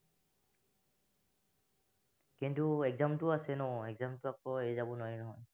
কিন্তু exam টো আছে exam টো আকৌ এৰি যাব নোৱাৰি নহয়